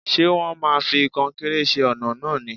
Ṣé wón máa fi kọnkéré ṣe ọ̀nà náà ni?